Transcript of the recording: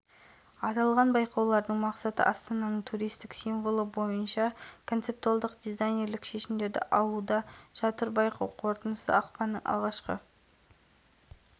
символ белгі қаланың статусын оның туристік тартымдылығын көрікті орындарын ландшафтының ерекшелігін және тарихын жеткізуге тиіс аталған байқауға қатысу үшін өтініш тіркелді